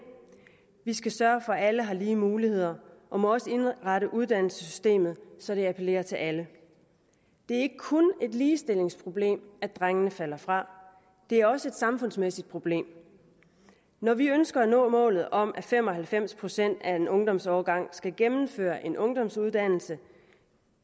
vi skal sørge for at alle har lige muligheder og må også indrette uddannelsessystemet så det appellerer til alle det er ikke kun et ligestillingsproblem at drengene falder fra det er også et samfundsmæssigt problem når vi ønsker at nå målet om at fem og halvfems procent af en ungdomsårgang skal gennemføre en ungdomsuddannelse